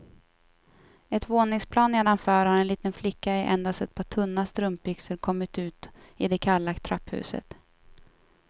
Ett våningsplan nedanför har en liten flicka i endast ett par tunna strumpbyxor kommit ut i det kalla trapphuset.